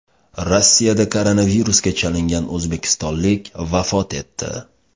Rossiyada koronavirusga chalingan o‘zbekistonlik vafot etdi.